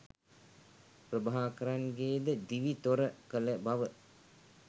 ප්‍රභාකරන්ගේද දිවි තොර කළ බව